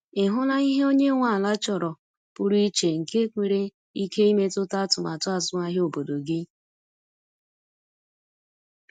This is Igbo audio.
Ị hụla ihe onye nwe ala chọrọ pụrụ iche nke nwere ike imetụta atụmatụ azụmahịa obodo gị?